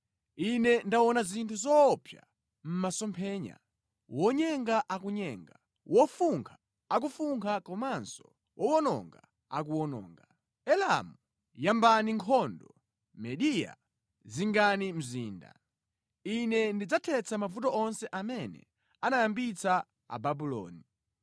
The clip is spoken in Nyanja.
Ine ndaona zinthu zoopsa mʼmasomphenya: Wonyenga akunyenga, wofunkha akufunkha komanso owononga akuwononga. Elamu, yambani nkhondo! Mediya, zingani mzinda! Ine ndidzathetsa mavuto onse amene anayambitsa Ababuloni.